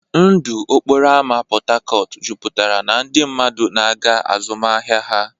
Ndụ okporo ámá Port Harcourt jupụtara na ndị mmadụ na-aga azụmahịa ha.